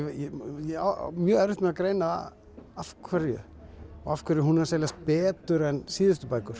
ég á mjög erfitt með að greina af hverju og af hverju hún er að seljast betur en síðustu bækur